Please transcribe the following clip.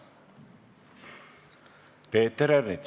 Peeter Ernits.